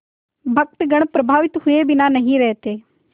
भक्तगण प्रभावित हुए बिना नहीं रहते